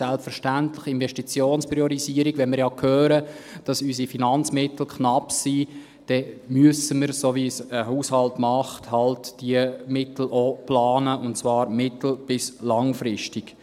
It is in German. Selbstverständlich: Investitionspriorisierung … Wenn wir ja hören, dass unsere Finanzmittel knapp sind, dann müssen wir, so wie es ein Haushalt macht, halt diese Mittel auch planen, und zwar mittel- bis langfristig.